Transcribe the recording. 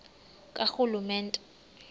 karhulumente